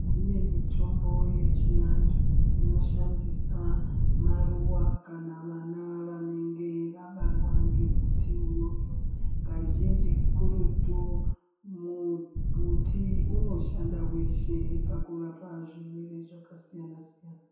Kune mitombo yechiandu inoshandisa maruwa kana vana vanenge vabarwa ngembuti iyoyo kazhinji kuruti mu mbuti unoshanda weshe pakurapa zvirwere zvakasiyana siyana.